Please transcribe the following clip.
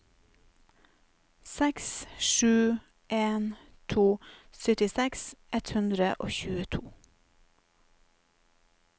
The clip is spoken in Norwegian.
seks sju en to syttiseks ett hundre og tjueto